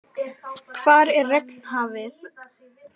Hvar er Regnhafið?